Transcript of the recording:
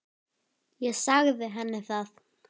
Ég sagði henni það.